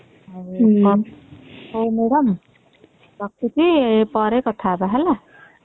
ହଉ ମାଡାମ ରଖୁଛି ପରେ କଥା ହବା ହେଲା